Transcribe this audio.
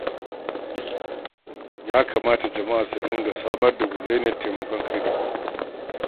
Ya kamata jama'a su dinga samar da gidauniyar taimakon kai da kai